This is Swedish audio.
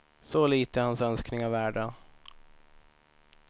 Så lite är hans önskningar värda.